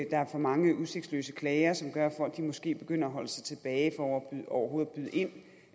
er for mange udsigtsløse klager som gør at folk måske begynder at holde sig tilbage for overhovedet